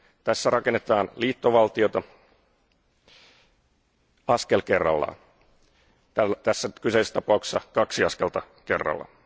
Tässä rakennetaan liittovaltiota askel kerrallaan, tässä kyseisessä tapauksessa kaksi askelta kerrallaan.